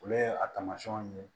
Olu ye a taamasiyɛnw ye